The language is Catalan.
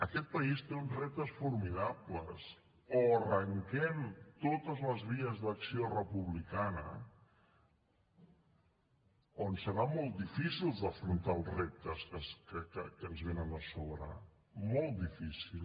aquest país té uns reptes formidables o arranquem totes les vies d’acció republicana o ens serà molt difícil d’afrontar els reptes que ens venen a sobre molt difícil